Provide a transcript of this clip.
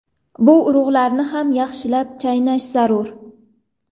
Bu urug‘larni ham yaxshilab chaynash zarur.